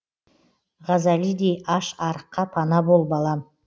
ғазалидей аш арыққа пана бол балам